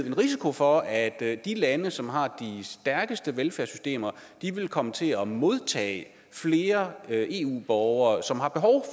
en risiko for at de lande som har de stærkeste velfærdssystemer vil komme til at modtage flere eu borgere som har behov